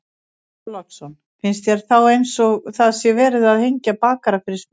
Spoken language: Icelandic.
Björn Þorláksson: Finnst þér þá eins og það sé verið að hengja bakara fyrir smið?